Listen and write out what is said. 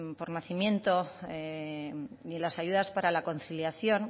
por nacimiento y en las ayudas para la conciliación